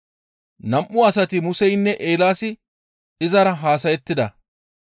Nam7u asati Museynne Eelaasi izara haasayettida